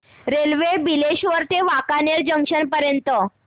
railway Bileshwar ते Wankaner junction पर्यंत